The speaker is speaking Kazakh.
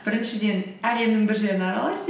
біріншіден әлемнің бір жерін аралайсыз